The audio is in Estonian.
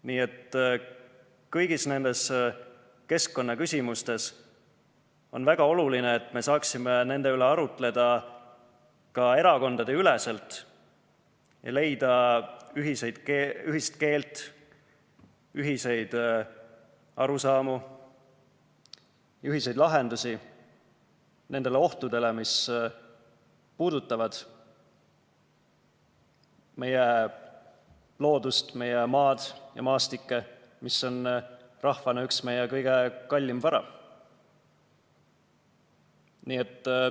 Nii et kõigis nendes keskkonnaküsimustes on väga oluline, et me saaksime nende üle arutleda ka erakondadeüleselt ja leida ühist keelt, ühiseid arusaamu, ühiseid lahendusi nendele ohtudele, mis puudutavad meie loodust, meie maad ja maastikke, mis on rahvana meie üks kõige kallimaid varasid.